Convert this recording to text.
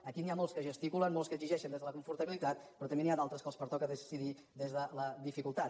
aquí n’hi ha molts que gesticulen molts que exigeixen des de la confortabilitat però també n’hi ha d’altres que els pertoca decidir des de la dificultat